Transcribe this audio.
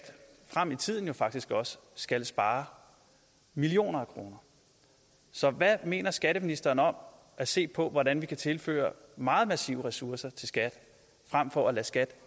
frem i tiden jo faktisk også skal spare millioner af kroner så hvad mener skatteministeren om at se på hvordan vi kan tilføre meget massive ressourcer til skat frem for at lade skat